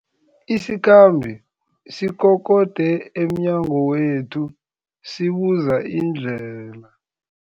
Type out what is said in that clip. Isikhambi sikokode emnyango wethu sibuza indlela.